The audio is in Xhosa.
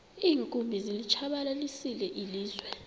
iinkumbi zilitshabalalisile ilizwe